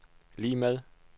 lig med